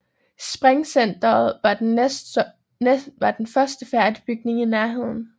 Springcenteret var den første færdige bygning i Nærheden